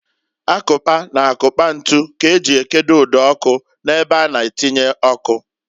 Akụkpa na akukpa ntu k'eji ekedo ụd'ọkụ n'ebe a na-atinye ọkụ.